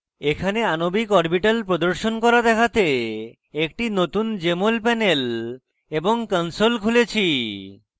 এখানে আণবিক orbitals প্রদর্শন করা দেখাতে একটি নতুন jmol panel এবং console খুলেছি